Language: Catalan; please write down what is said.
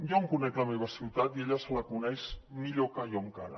jo em conec la meva ciutat i ella se la coneix millor que jo encara